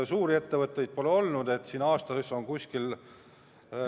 Suuri ettevõtteid pole siin olnud.